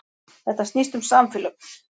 Þetta snýst um samfélög